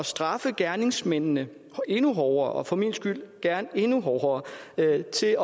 straffe gerningsmændene endnu hårdere for min skyld gerne endnu hårdere endda til